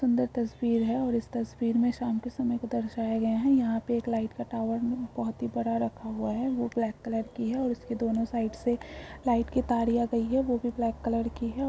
सुन्दर तस्वीर है और इस तस्वीर में शाम के समय को दर्शाया गया है यहां पे एक लाइट का टावर बहुत ही बड़ा रखा हुआ है वो ब्लैक कलर की है और उसके दोनों साइड से लाइट की तरिया गयी है वो भी ब्लैक कलर की है।